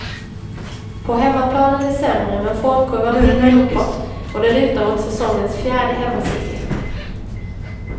På hemmaplan är det sämre men formkurvan pekar uppåt och det lutar åt säsongens fjärde hemmaseger.